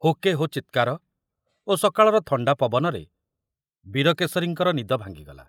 ହୁକେ ହୋ ଚିତ୍କାର ଓ ସକାଳର ଥଣ୍ଡା ପବନରେ ବୀରକେଶରୀଙ୍କର ନିଦ ଭାଙ୍ଗିଗଲା।